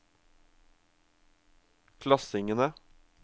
klassingene